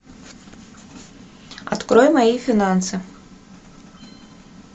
открой мои финансы